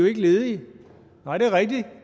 er ledige nej